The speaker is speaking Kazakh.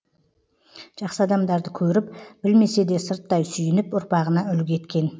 жақсы адамдарды көріп білмесе де сырттай сүйініп ұрпағына үлгі еткен